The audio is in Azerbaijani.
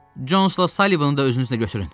Consla Sallivini də özünüzlə götürün.